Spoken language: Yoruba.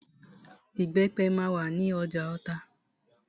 Ìbẹ́pẹ máa wà ní ọjà Ota.